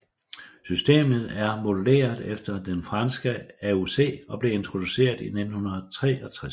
Systemet er modelleret efter det franske AOC og blev introduceret i 1963